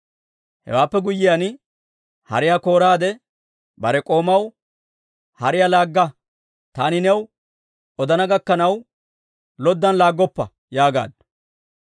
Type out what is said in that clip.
Hewaappe guyyiyaan, hariyaa kooraade, bare k'oomaw, «Hariyaa laagga! Taani new odana gakkanaw, loddan laaggoppa» yaagaaddu.